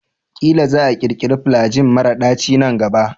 Ƙila za a ƙirkira flajil mara daci nan gaba.